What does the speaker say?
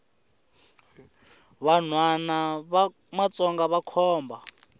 vanhwana va matsonga vakhomba